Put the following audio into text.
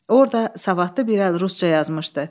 Orda savadlı bir əl rusca yazmışdı.